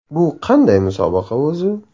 Bu qanday musobaqa o‘zi?.